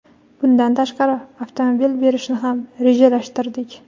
Bundan tashqari, avtomobil berishni ham rejalashtirdik.